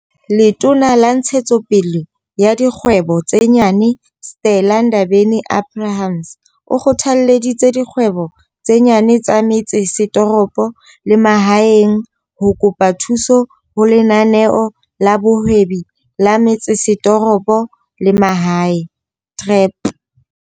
Letona la Ntshetso pele ya Dikgwebo tse Nyane, Stella Ndabeni-Abrahams, o kgothalleditse dikgwebo tse nyane tsa metse setoropo le mahaeng ho kopa thuso ho Lenaneo la Bohwebi la Metsesetoropo le Mahae, TREP.